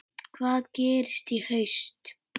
Hvað gerist í haust?